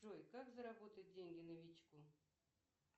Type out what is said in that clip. джой как заработать деньги новичку